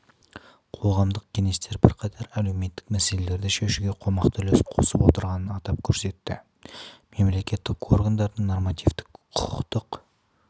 қоғамдық кеңестер бірқатар әлеуметтік мәселелерді шешуге қомақты үлес қосып отырғанын атап көрсетті мемлекеттік органдардың нормативтік-құқықтық